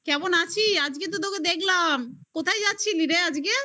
কেমন আছিস আজকে তো তোকে দেখলাম। কোথায় যাচ্ছিলি রে আজকে